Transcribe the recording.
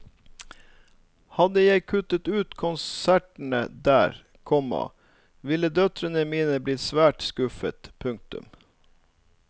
Hadde jeg kuttet ut konsertene der, komma ville døtrene mine blitt svært skuffet. punktum